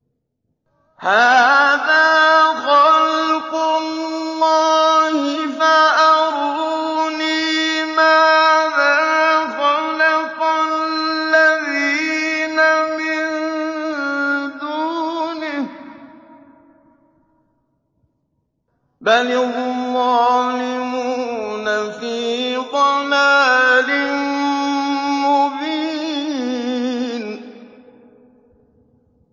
هَٰذَا خَلْقُ اللَّهِ فَأَرُونِي مَاذَا خَلَقَ الَّذِينَ مِن دُونِهِ ۚ بَلِ الظَّالِمُونَ فِي ضَلَالٍ مُّبِينٍ